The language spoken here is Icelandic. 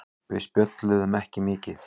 Við spjölluðum ekki mikið.